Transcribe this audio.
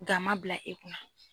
Ga man bila e kunna.